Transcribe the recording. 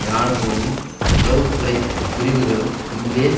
இராணுவமும் உளவு துறை பிரிவுகளும் முன்பே